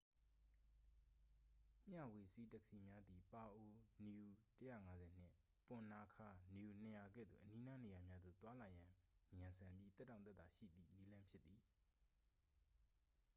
မျှဝေစီး တက္ကစီများသည် ပါအို nu ၁၅၀ နှင့် ပွန်နာခါး nu ၂၀၀ ကဲ့သို့ အနီးနား နေရာများသို့ သွားလာရန် မြန်ဆန်ပြီး သက်တောင့်သက်သာရှိသည် နည်းလမ်းဖြစ်သည်။